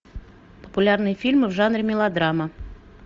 популярные фильмы в жанре мелодрама